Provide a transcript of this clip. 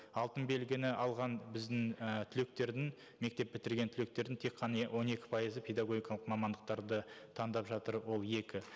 алтын белгіні алған біздің ы түлектердің мектеп бітірген түлектердің тек қана он екі пайызы педагогикалық мамандықтарды таңдап жатыр ол екі